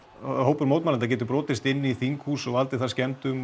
hópur mótmælenda geti brotist inn í þinghús og valdið þar skemmdum